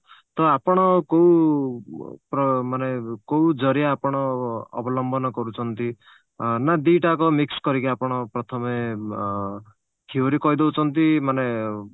ତ ଆପଣ କଉ ପ ମାନେ କଉ ଜରିଆ ଆପଣ ଅ ଅବଲମ୍ବନ କରୁଛନ୍ତି ନା ଦି ଟା ଯାକ mix କରିକି ଆପଣ ପ୍ରଥମେ theory କହିଦଉଛନ୍ତି ମାନେ